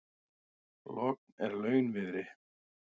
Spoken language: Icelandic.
Logn er launviðri.